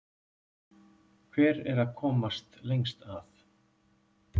Hver er að komast lengst að?